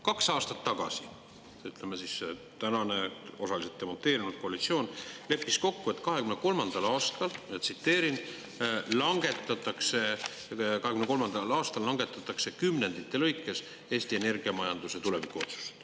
Kaks aastat tagasi, ütleme, tänane osaliselt demonteerunud koalitsioon leppis kokku, et 2023. aastal langetatakse kümnendite lõikes Eesti energiamajanduse tulevikuotsused.